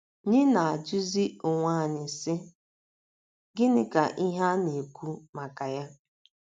nyị na - ajụzi onwe anyị, sị: ‘ Gịnị ka ihe a na - ekwu maka ya?